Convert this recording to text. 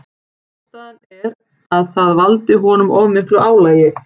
Ástæðan er að það valdi honum of miklu álagi.